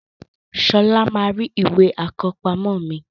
Sola máa rí Ìwé àkọ́pamọ́ mi